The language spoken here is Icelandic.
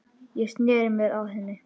Ég sneri mér að henni.